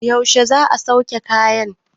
yaushe za a sauke kayan?